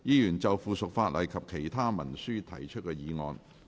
議員就附屬法例及其他文書提出的議案。